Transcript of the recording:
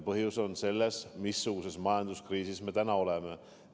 Põhjus on selles, missuguses majanduskriisis me täna oleme.